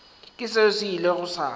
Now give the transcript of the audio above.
ke seo se ilego sa